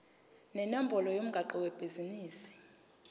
nenombolo yomgwaqo webhizinisi